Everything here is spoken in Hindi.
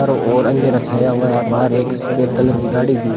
चारों ओर अंधेरा छाया हुआ है बाहर एक सफेद कलर की गाड़ी भी--